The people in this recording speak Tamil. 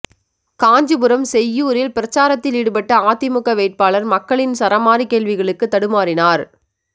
காஞ்சிபுரம் செய்யூரில் பிரசாரத்தில் ஈடுபட்ட அதிமுக வேட்பாளர் மக்களின் சரமாரி கேள்விகளுக்கு தடுமாறினார்